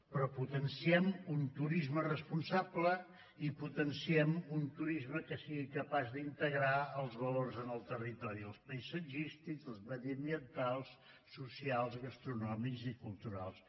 però potenciem un turisme responsable i potenciem un turisme que sigui capaç d’integrar els valors en el territori els paisatgístics els mediambientals socials gastronòmics i culturals